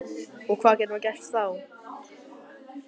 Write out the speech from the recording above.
Og hvað getur maður gert þá?